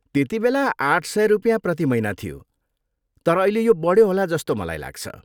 त्यतिबेला आठ सय रुपियाँ प्रति महिना थियो, तर अहिले यो बढ्यो होला जस्तो मलाई लाग्छ।